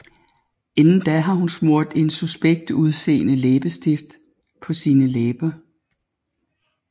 Inden da har hun smurt en suspekt udseende læbestift på sine læber